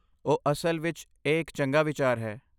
ਓਹ ਅਸਲ ਵਿੱਚ ਇਹ ਇੱਕ ਚੰਗਾ ਵਿਚਾਰ ਹੈ।